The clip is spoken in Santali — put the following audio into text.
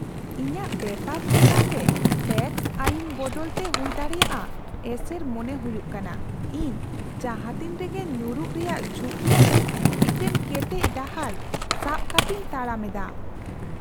ᱤᱧᱟᱹᱜ ᱵᱮᱯᱟᱨ ᱪᱮᱛᱟᱱ ᱨᱮ ᱴᱮᱹᱠᱥ ᱟᱹᱭᱤᱱ ᱵᱚᱫᱚᱞᱨᱮ ᱦᱩᱭᱫᱟᱲᱮᱭᱟᱜ ᱮᱥᱮᱨ ᱢᱚᱱᱮ ᱦᱩᱭᱩᱜ ᱠᱟᱱᱟ ᱤᱧ ᱡᱟᱦᱟᱸ ᱛᱤᱱ ᱨᱮᱜᱮ ᱧᱩᱨᱩᱜ ᱨᱮᱭᱟᱜ ᱡᱷᱩᱸᱠᱤ ᱟᱛᱮ ᱢᱤᱫᱴᱟᱝ ᱠᱮᱴᱮᱡ ᱰᱟᱦᱟᱨ ᱥᱟᱵ ᱠᱟᱛᱤᱧ ᱛᱟᱲᱟᱢ ᱮᱫᱟ ᱾